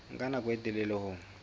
nka nako e telele ho